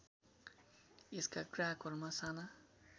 यसका ग्राहकहरुमा साना